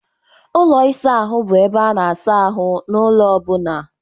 Ụlọ ịsa ahụ bụ ebe a na-asa ahụ n'ụlọ ọbụna.